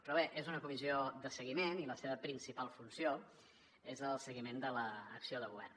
però bé és una comissió de seguiment i la seva principal funció és el seguiment de l’acció de govern